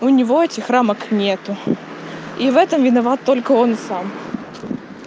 у него этих рамок нету и в этом виноват только он сам